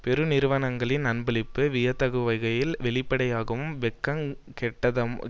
பெருநிறுவனங்களின் அன்பளிப்பு வியத்தகுவகையில் வெளிப்படையாகவும் வெட்கங் கெட்டதனமாகவும்